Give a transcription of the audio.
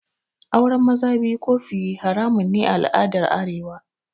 Auren maza biyu ko fiye haramun ne a al'adar arewa